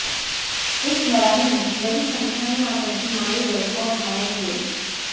इस लड़ाई में बड़ी संख्या में आतंकी मारे गए और घायल हुए